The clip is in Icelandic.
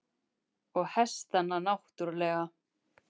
Og hestana náttúrlega.